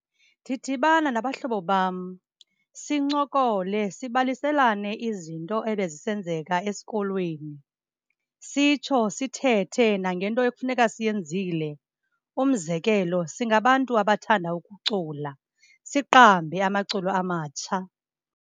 Ndidibana nabahlobo bam sincokole, sibaliselane izinto ebezisenzeka esikolweni. Sitsho sithethe nangento ekufuneka siyenzile. Umzekelo, singabantu abathanda ukucula, siqambe amaculo amatsha.